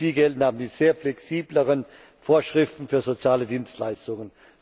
Für sie gelten aber die sehr viel flexibleren Vorschriften für soziale Dienstleistungen.